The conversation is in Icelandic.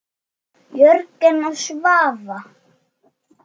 Jörgen og Svava.